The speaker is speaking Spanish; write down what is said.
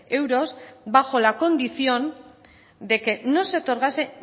euros bajo la condición de que no se otorgase